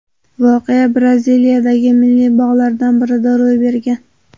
Voqea Braziliyadagi milliy bog‘lardan birida ro‘y bergan.